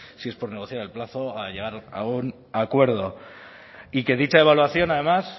si es por negociar al plazo a llegar un acuerdo y que dicha evaluación además